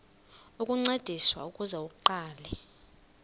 ukuncediswa ukuze aqale